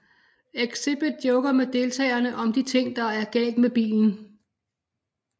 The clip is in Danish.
Xzibit joker med deltageren om de ting der er galt med bilen